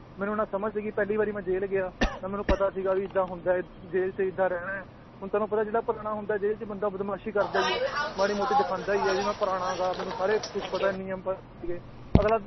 ਮੈਨੂੰ ਨਾ ਸਮਝ ਸੀਗੀ ਪਹਿਲੀ ਵਾਰ ਮੈਂ ਜੇਲ੍ਹ ਗਿਆ, ਨਾ ਮੈਨੂੰ ਪਤਾ ਸੀਗਾ ਵੀ ਏਦਾਂ ਹੁੰਦਾ ਹੈ ਜੇਲ੍ਹ 'ਚ ਏਦਾਂ ਰਹਿਣਾ ਹੈ, ਹੁਣ ਤੁਹਾਨੂੰ ਪਤਾ ਜਿਹੜਾ ਪੁਰਾਣਾ ਹੁੰਦਾ ਹੈ ਜੇਲ੍ਹ 'ਚ ਬੰਦਾ ਬਦਮਾਸ਼ੀ ਕਰਦਾ ਹੀ ਹੈ, ਮਾੜੀ ਮੋਟੀ ਦਿਖਾਉਂਦਾ ਹੀ ਹੈ ਵੀ ਮੈਂ ਪੁਰਾਣਾ ਗਾ ਮੈਨੂੰ ਸਾਰੇ ਕੁਛ ਪਤਾ ਨਿਯਮ ਪ~ ਅਗਲਾ